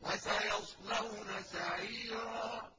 وَسَيَصْلَوْنَ سَعِيرًا